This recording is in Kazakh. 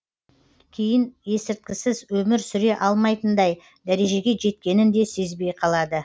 кейін есірткісіз өмір сүре алмайтындай дәрежеге жеткенін де сезбей қалады